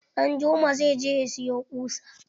Danjuma zai je ya siyo ƙusa.